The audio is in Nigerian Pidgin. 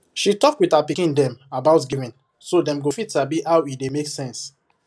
she talk with her pikin dem about giving so dem go fit sabi how e dey make sense